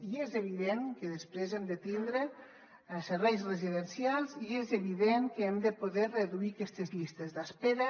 i és evident que després hem de tindre serveis residencials i és evident que hem de poder reduir aquestes llistes d’espera